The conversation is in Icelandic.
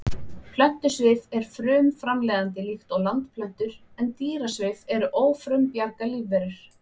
Plöntusvif er frumframleiðandi líkt og landplöntur en dýrasvif eru ófrumbjarga lífverur.